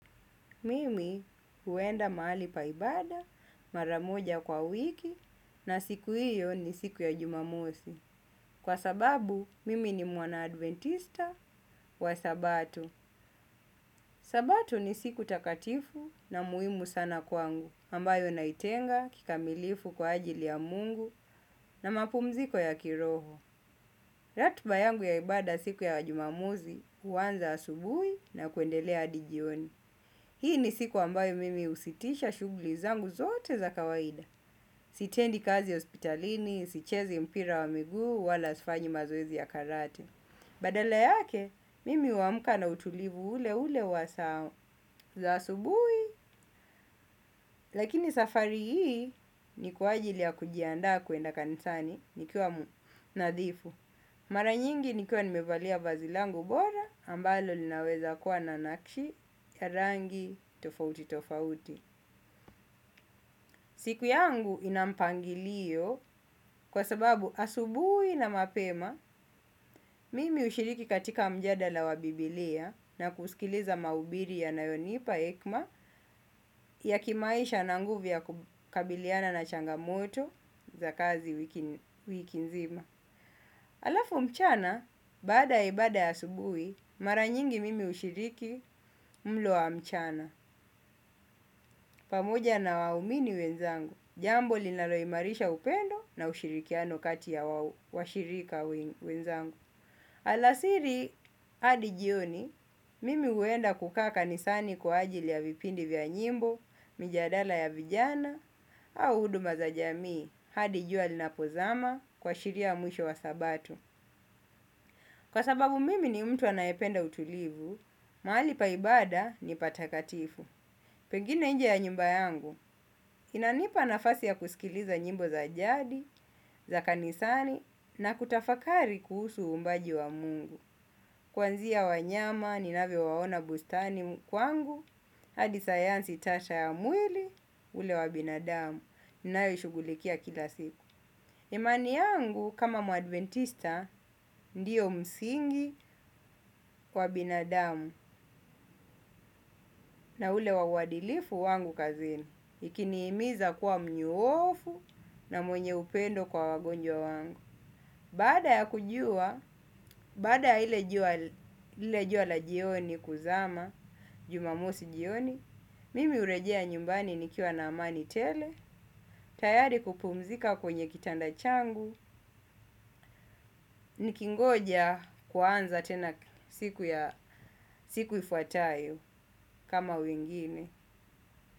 Mimi huenda mahali pa ibada, mara moja kwa wiki na siku hiyo ni siku ya jumamosj. Kwa sababu, mimi ni mwana adventista wa sabato. Sabato ni siku takatifu na muhimu sana kwangu, ambayo naitenga kikamilifu kwa ajili ya Mungu na mapumziko ya kiroho. Ratiba yangu ya ibada siku ya jumamosj huanza asubuhi na kuendelea hadi jioni. Hii ni siku ambayo mimi husitisha shughuli zangu zote za kawaida. Sitendi kazi hospitalini, sichezi mpira wa miguu wala sifanyi mazoezi ya Karate. Badala yake, mimi huamka na utulivu ule ule wa saa za asubuhi. Lakini safari hii ni kwa ajili ya kujiandaa kwenda kanisani nikiwa nadhifu. Mara nyingi nikuwa nimevalia vazi langu bora, ambalo linaweza kuwa na nakshi ya rangi tofauti tofauti. Siku yangu ina mpangilio kwa sababu asubuhi na mapema mimi hushiriki katika mjadala wa biblia na kusikiliza mahubiri yanayonipa hekima ya kimaisha na nguvu ya kukabiliana na changamoto za kazi wiki nzima. Alafu mchana, baada ibada ya asubuhi, mara nyingi mimi hushiriki mlo wa mchana, pamoja na waumini wenzangu, jambo linaloimarisha upendo na ushirikiano kati ya washirika wenzangu. Alasiri hadi jioni, mimi huenda kukaa kanisani kwa ajili ya nyimbo, mijadala ya vijana au huduma za jamii hadi jua linapozama kuashiria mwisho wa sabato. Kwa sababu mimi ni mtu anayependa utulivu, mahali pa ibada ni patakatifu. Pengine nje ya nyumba yangu, inanipa nafasi ya kusikiliza nyimbo za jadi, za kanisani na kutafakari kuhusu uumbaji wa Mungu. Kwanzia wanyama, ninavyo waona bustani kwangu, hadi sayansi tata ya mwili ule wa binadamu. Ninayo ishughulikia kila siku. Imani yangu, kama muadventista, ndiyo msingi kwa binadamu na ule wa uadilifu wangu kazini. Ikinihimiza kuwa mnyoofu na mwenye upendo kwa wagonjwa wangu. Baada ya kujua, baada ya lile jua lile jua la jioni kuzama, jumamosi jioni mimi hurejea nyumbani nikiwa na amani tele, tayari kupumzika kwenye kitanda changu. Nikingoja kuanza tena siku ifuatayo kama wengine.